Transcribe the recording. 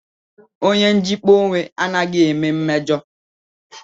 Onye njikpa onwe anaghị eme mmejo